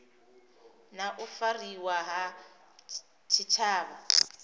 na u fariwa ha tshitshavha